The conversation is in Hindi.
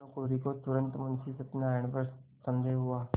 भानुकुँवरि को तुरन्त मुंशी सत्यनारायण पर संदेह हुआ